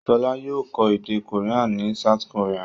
Ṣọlá yóò kọ́ èdè Korea ní South Korea.